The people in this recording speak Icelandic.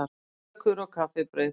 KÖKUR OG KAFFIBRAUÐ